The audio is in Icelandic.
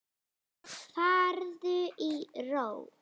Farðu í ró.